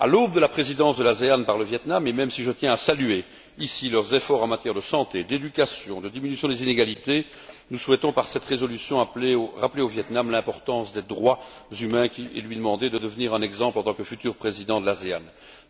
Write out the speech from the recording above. À l'aube de la présidence de l'ANASE par le Viêt Nam et même si je tiens à saluer ici ses efforts en matière de santé, d'éducation, de diminution des inégalités nous souhaitons, par cette résolution, rappeler à ce pays l'importance des droits de l'homme et lui demander de devenir un exemple en tant que futur président de l'ANASE.